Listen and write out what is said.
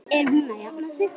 Er hún að jafna sig?